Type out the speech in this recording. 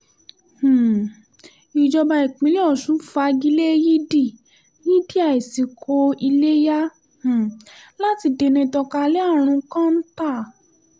um ìjọba ìpínlẹ̀ ọ̀sùn fagi lé yídi yídi ìásikò iléyà um láti dènà ìtànkalẹ̀ àrùn kọ́ńtà